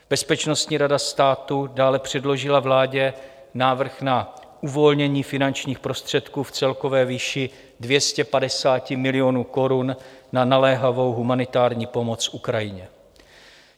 Bezpečnostní rada státu dále předložila vládě návrh na uvolnění finančních prostředků v celkové výši 250 milionů korun na naléhavou humanitární pomoc Ukrajině.